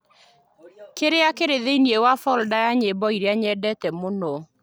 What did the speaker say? kĩrĩa kĩrĩ thĩinĩ wa folda ya nyĩmbo iria nyendete mũno